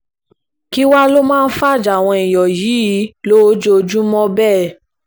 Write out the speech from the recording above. kí wàá lọ máa ń fajà àwọn èèyàn yìí lójoojúmọ́ bẹ́ẹ̀